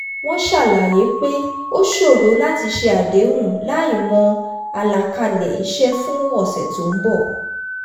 wọ́n ṣàlàyé pé ó ṣòro láti ṣe àdéhùn láìmọ̀ àlàkalẹ̀ iṣẹ́ fún ọ̀ṣẹ̀ tó ń bọ̀